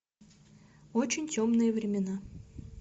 очень темные времена